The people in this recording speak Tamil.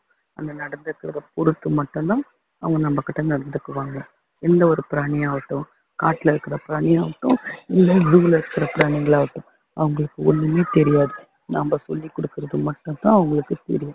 நம்ம நடந்துக்கிறதை பொறுத்து மட்டும்தான் அவங்க நமக்கிட்ட நடந்துக்குவாங்க எந்தவொரு பிராணியாகட்டும் காட்டுல இருக்கிற பிராணியாகட்டும் இல்ல zoo ல இருக்கிற பிராணிங்களாகட்டும் அவங்களுக்கு ஒண்ணுமே தெரியாது நம்ம சொல்லி கொடுக்குறது மட்டும் தான் அவங்களுக்கு தெரியும்